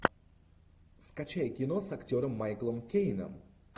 скачай кино с актером майклом кейном